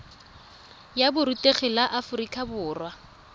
ya borutegi la aforika borwa